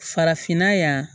Farafinna yan